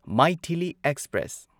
Maithili express